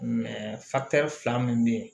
fila min bɛ yen